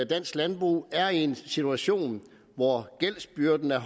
dansk landbrug er i en situation hvor gældsbyrden er